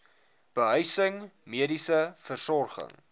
behuising mediese versorging